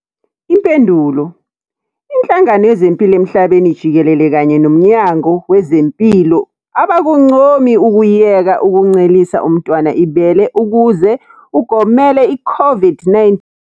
Impendulo- Inhlangano Yezempilo Emhlabeni Jikelele kanye noMnyango Wezempilo abakuncomi ukuyeka ukuncelisa umntwana ibele ukuze ugomele iCOVID-19.